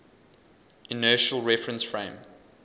inertial reference frame